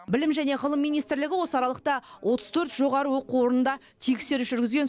білім және ғылым министрлігі осы аралықта отыз төрт жоғары оқу орында тексеріс жүргізген